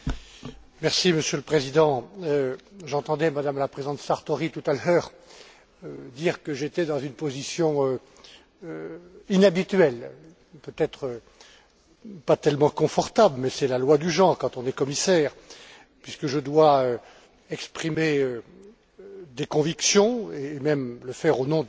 Monsieur le Président, j'entendais Madame la présidente Sartori tout à l'heure dire que j'étais dans une position inhabituelle, pas tellement confortable, mais c'est la loi du genre quand on est commissaire, puisque je dois exprimer des convictions et même le faire au nom de mon collègue,